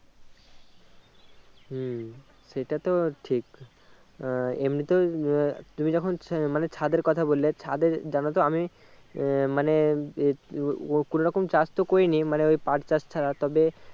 হম সেটাতো ঠিক আহ এমনিতে আহ তুমি যখন আহ মানে ছাদের কথা বললে ছাদে জানতো আমি আহ মানে এ ও ও কোনো রকম চাষ তো করেনি মানে ওই পাট চাষ ছাড়া